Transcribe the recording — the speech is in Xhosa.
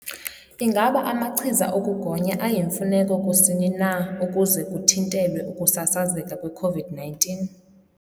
Ingaba amachiza okugonya ayimfuneko kusini na ukuze kuthintelwe ukusasazeka kwe-COVID-19?